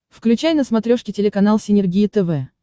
включай на смотрешке телеканал синергия тв